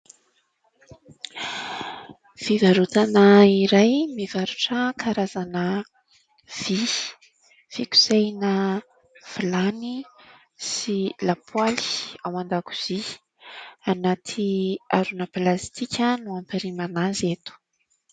Fivarotana iray mivarotra karazana vy, fikosehana vilany sy lapoaly ao an-dakozia, ao anaty harona plastika no hampirimana azy eto.